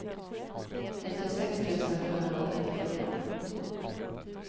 nittiosex tusen sjuhundratrettiofyra